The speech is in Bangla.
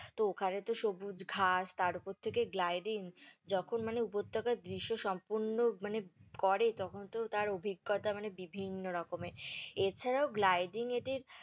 তো ওখানে তো সবুজ ঘাস তার ওপর থেকে gliding যখন মানে উপত্যাকার দৃশ্য সম্পূর্ণ মানে করে তখন তো তার অভিজ্ঞতা মানে বিভিন্ন রকমের, এছাড়াও gliding এ টির